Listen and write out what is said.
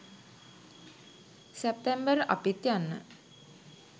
සැප්තැම්බර් අපිත් යන්න